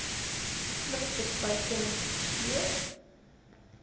pluk bespuiting skeer